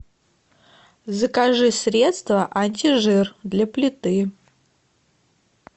закажи средство антижир для плиты